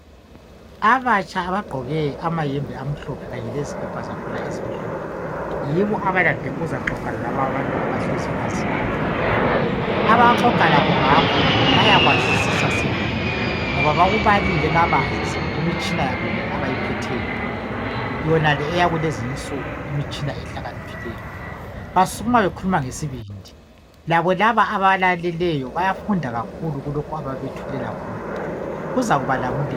Abatsha abagqoke amayembe amhlophe kanye lezikipa zakhona ezimhlophe yibo abalande ukuzaxoxa lalaba abantu abahlezi phansi lapho. Abaxoxa ngakho bayakwazisisa sibili ngoba bakubalile kabanzi kumitshina yabo yonale abayiphetheyo yonale eyakulezinsuku imitshina ehlakaniphileyo. Basukuma bekhuluma ngesibindi labo laba abalaleleyo bayafunda kakhulu kulokhu ababethulela khona kuzakubalamulela.